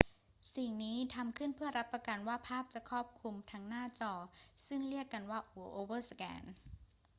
สิ่งนี้ทำขึ้นเพื่อรับประกันว่าภาพจะครอบคลุมทั้งหน้าจอ ซึ่งเรียกกันว่าโอเวอร์สแกน